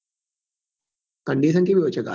Condition કેવી હોય છે ગાડી ની